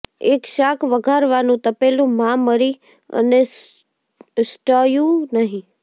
એક શાક વઘારવાનું તપેલું માં મરી અને સ્ટયૂ નહીં